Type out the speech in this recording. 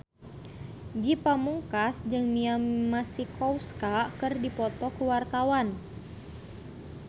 Ge Pamungkas jeung Mia Masikowska keur dipoto ku wartawan